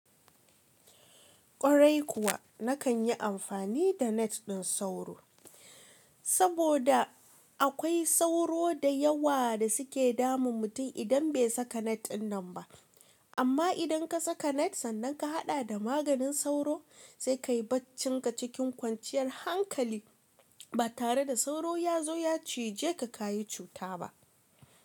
Kwarai kuwa, na kan yi amfani da net ɗin sauro. Saboda akwai sauro da yawa da suke damun mutum idan bai saka net ɗin nan ba. Amma idan ka saka net sannan ka haɗa da maganin sauro, sai ka yi baccinka cikin kwanciyar hankali ba tare da sauro ya zo ya cije ka ka yi cuta ba.